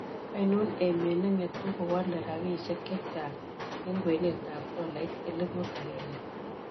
Ainon emet ne ng'etuu kowaale rabisiek chechang' eng' kwenetap tolaiit elipuut agenge